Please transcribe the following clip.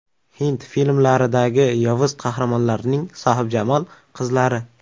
Hind filmlaridagi yovuz qahramonlarning sohibjamol qizlari .